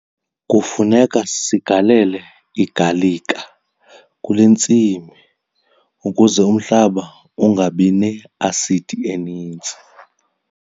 Kufuneka sigalele igalika kule ntsimi ukuze umhlaba ungabi ne-asidi eninzi.